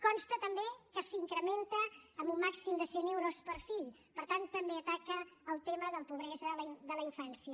consta també que s’incrementa amb un màxim de cent euros per fill per tant també ataca el tema de la pobresa de la infància